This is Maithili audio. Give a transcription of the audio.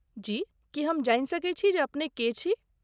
जी, की हम जानि सकैत छी जे अपने के छी?